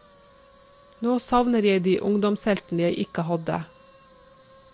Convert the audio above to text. Nå savner jeg de ungdomsheltene jeg ikke hadde.